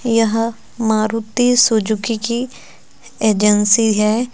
यह मारुति सुजुकी की एजेंसी है।